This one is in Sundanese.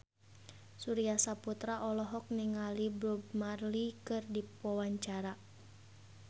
Surya Saputra olohok ningali Bob Marley keur diwawancara